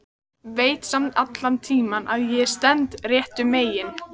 Veit samt allan tímann að ég stend réttu megin.